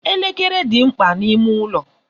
Elekere dị mkpa n'ime ụlọ.